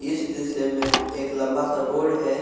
इस दृश्य में एक लम्बा सा रोड है।